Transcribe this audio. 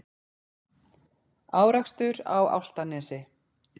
Árekstur á Álftanesvegi